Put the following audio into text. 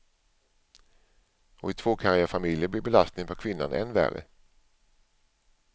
Och i tvåkarriärfamiljer blir belastningen på kvinnan än värre.